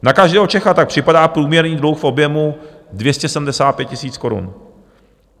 Na každého Čecha tak připadá průměrný dluh v objemu 275 000 korun.